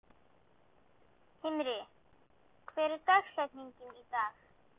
Himri, hver er dagsetningin í dag?